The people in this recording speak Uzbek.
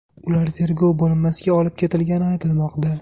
Ular tergov bo‘linmasiga olib ketilgani aytilmoqda.